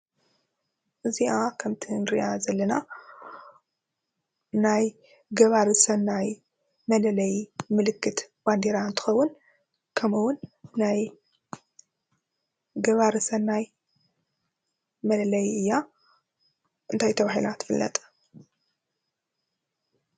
እዚአ ከምቲ ንሪአ ዘለና ናይ ገባሪ ሰናይ መለለይ ምልክት ባንዴራ እንትኸውን ከምኡ እውን ናይ ገባሪ ሰናይ መለለይ እያ ።እንታይ ተባሂላ ትፍለጥ?